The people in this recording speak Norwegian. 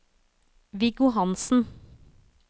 Viggo Hansen